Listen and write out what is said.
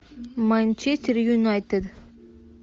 манчестер юнайтед